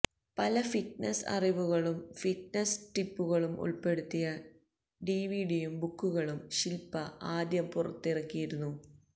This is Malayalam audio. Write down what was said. പല ഫിറ്റ്നസ് അറിവുകളും ഫിറ്റ്നസ് ടിപ്പുകളും ഉള്പ്പെടുത്തിയ ഡിവിഡിയും ബുക്കുകളും ശില്പ്പ ആദ്യം പുറത്തിറക്കിയിരുന്നു